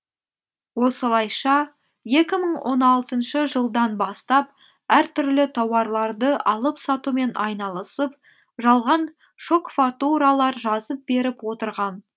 осылайша екі мың он алтыншы жылдан бастап әртүрлі тауарларды алып сатумен айналысып жалған шок фартуралар жазып беріп отырған